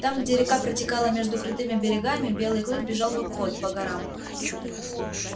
там где река протекала между крутыми берегами белый клык бежал в обход по горам